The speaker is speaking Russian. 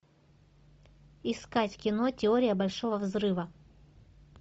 искать кино теория большого взрыва